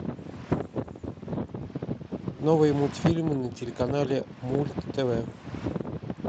новые мультфильмы на телеканале мульт тв